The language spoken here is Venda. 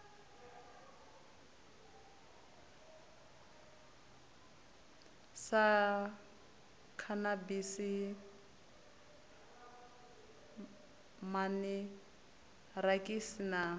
sa khanabisi man irakisi na